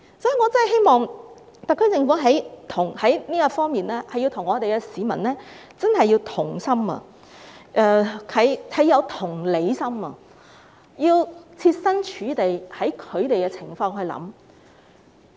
所以，我真的希望特區政府在這方面能與市民同心，更要有同理心，設身處地，從市民的角度來考慮。